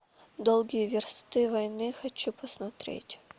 долгие версты войны хочу посмотреть